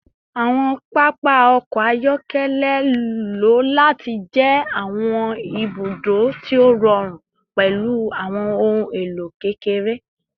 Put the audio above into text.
Awọn papa ọkọ ayọkẹlẹ lo lati jẹ awọn ibudo ti o rọrun pẹlu awọn ohun elo kekere